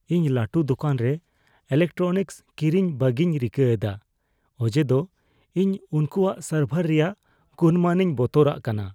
ᱤᱧ ᱞᱟᱹᱴᱩ ᱫᱳᱠᱟᱱ ᱨᱮ ᱤᱞᱮᱠᱴᱨᱚᱱᱤᱠᱥ ᱠᱤᱨᱤᱧ ᱵᱟᱹᱜᱤᱧ ᱨᱤᱠᱟᱹ ᱮᱫᱟ ᱚᱡᱮᱫᱚ ᱤᱧ ᱩᱱᱠᱚᱣᱟᱜ ᱥᱟᱨᱵᱷᱟᱨ ᱨᱮᱭᱟᱜ ᱜᱩᱱᱢᱟᱱᱤᱧ ᱵᱚᱛᱚᱨᱟᱜ ᱠᱟᱱᱟ ᱾